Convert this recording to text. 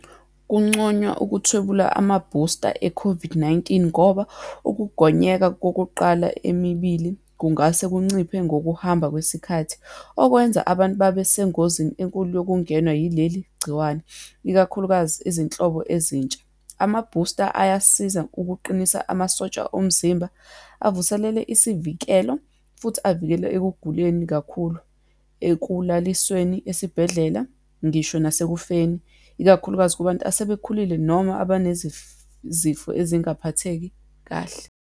Kunconywa ukuthwebula amabusta e-COVID-19 ngoba, ukugonyeka kokuqala emibili kungase kunciphe ngokuhamba kwesikhathi, okwenza abantu babesengozini enkulu yokungenwa yileligciwane, ikakhulukazi izinhlobo ezintsha. Amabhusta ayasiza ukuqinisa amasotsha omzimba, avuselele isivikelo, futhi avikele ekuguleni kakhulu, ekulalisweni esibhedlela, ngisho nasekufakeni, ikakhulukazi kubantu asebekhulile noma zifo ezingaphatheki kahle.